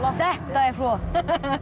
þetta er flott